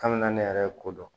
Kabini ne yɛrɛ ye ko dɔn